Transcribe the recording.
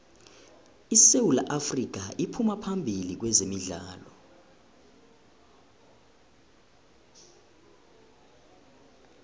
isewu afrika iphuma phambili kwezemidlalo